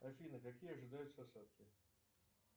афина какие ожидаются осадки